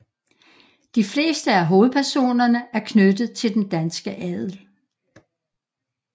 De fleste af hovedpersonerne er knyttet til den danske adel